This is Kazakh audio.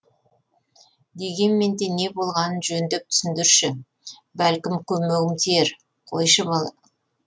дегенмен де не болғанын жөндеп түсіндірші бәлкім көмегім тиер қойшы бала